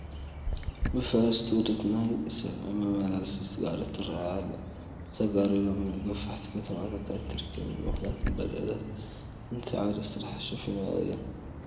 ብፈረስ ትጉተት ናይ ሰብ መመላለሲት ጋሪ ትርአ ኣላ ፡፡ እዛ ጋሪ ሎሚ ኣብ ገፋሕቲ ከተማታት ኣይትርከብን፡፡ ምኽንያቱም ባጃጃት ነቲ ዓውደ ስርሓ ሸፊንኦ እየን፡፡